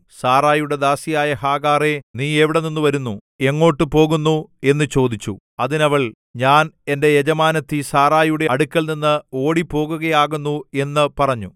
സാറായിയുടെ ദാസിയായ ഹാഗാറേ നീ എവിടെ നിന്നു വരുന്നു എങ്ങോട്ടു പോകുന്നു എന്നു ചോദിച്ചു അതിന് അവൾ ഞാൻ എന്റെ യജമാനത്തി സാറായിയുടെ അടുക്കൽനിന്ന് ഓടിപ്പോകുകയാകുന്നു എന്നു പറഞ്ഞു